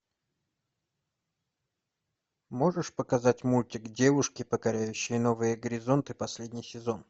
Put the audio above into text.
можешь показать мультик девушки покоряющие новые горизонты последний сезон